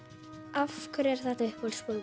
af hverju er þetta uppáhaldsbókin